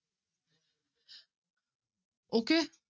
Okay